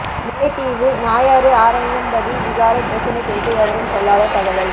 முல்லைத்தீவு நாயாறு ஆரயம்பதி விகாரை பிரச்சனை குறித்து எவரும் சொல்லாத தகவல்